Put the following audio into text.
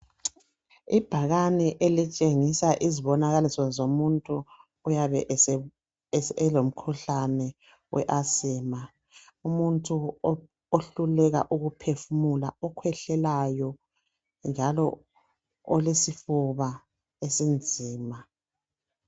Ibhakane elitshengisa izibonakaliso zomuntu oyabe elomkhuhlane we Asima. Umuntu ohluleka ukuphefumula, okhwehlelayo njalo olesifuba esinzima.